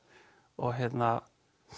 og hérna